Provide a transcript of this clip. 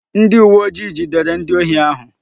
Ndi uwe ojii jidere ndi ohi ahu